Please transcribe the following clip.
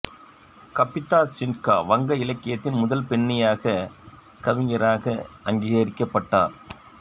கபிதா சின்ஹா வங்க இலக்கியத்தின் முதல் பெண்ணியக் கவிஞராக அங்கீகரிக்கப்பட்டார்